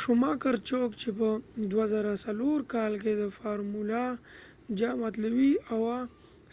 شوماکر څوک چې په ۲۰۰۶ کال کې د فارمول ۱ جام اتلولي اوه